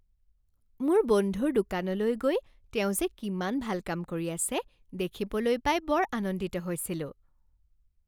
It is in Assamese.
মোৰ বন্ধুৰ দোকানলৈ গৈ তেওঁ যে কিমান ভাল কাম কৰি আছে দেখিবলৈ পাই বৰ আনন্দিত হৈছিলোঁ।